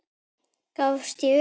Gafst ég upp?